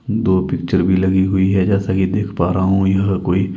दो पिक्चर भी लगी हुई है जैसा कि देख पा रहा हूं यह कोई.--